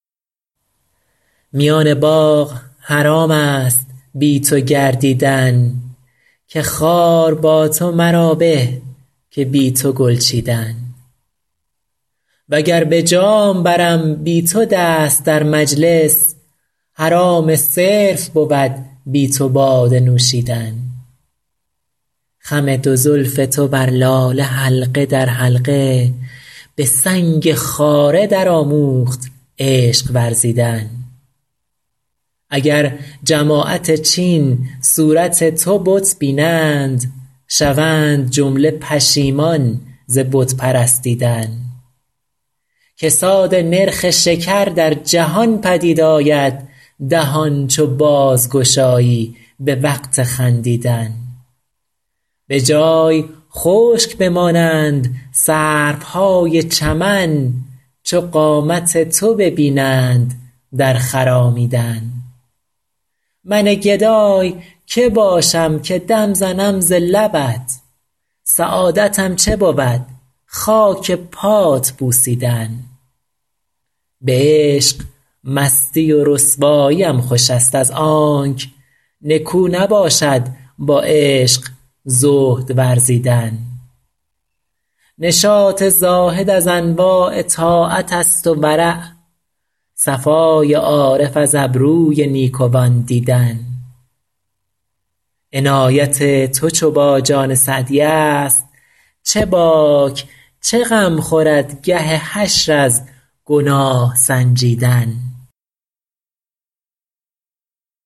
میان باغ حرام است بی تو گردیدن که خار با تو مرا به که بی تو گل چیدن و گر به جام برم بی تو دست در مجلس حرام صرف بود بی تو باده نوشیدن خم دو زلف تو بر لاله حلقه در حلقه به سنگ خاره درآموخت عشق ورزیدن اگر جماعت چین صورت تو بت بینند شوند جمله پشیمان ز بت پرستیدن کساد نرخ شکر در جهان پدید آید دهان چو بازگشایی به وقت خندیدن به جای خشک بمانند سروهای چمن چو قامت تو ببینند در خرامیدن من گدای که باشم که دم زنم ز لبت سعادتم چه بود خاک پات بوسیدن به عشق مستی و رسواییم خوش است از آنک نکو نباشد با عشق زهد ورزیدن نشاط زاهد از انواع طاعت است و ورع صفای عارف از ابروی نیکوان دیدن عنایت تو چو با جان سعدی است چه باک چه غم خورد گه حشر از گناه سنجیدن